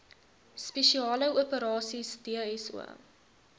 spesiale operasies dso